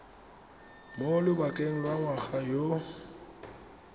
mo lobakeng lwa ngwana yo